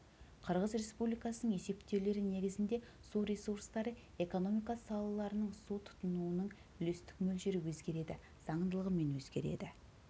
қырғыз республикасының есептеулері негізінде су ресурстары экономика салаларының су тұтынуының үлестік мөлшері өзгереді заңдылығымен өзгереді